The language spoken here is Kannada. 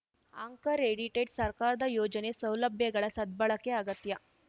ಆಂಕರ್‌ ಎಡಿಟೆಡ್‌ ಸರ್ಕಾರದ ಯೋಜನೆ ಸೌಲಭ್ಯಗಳ ಸದ್ಬಳಕೆ ಅಗತ್ಯ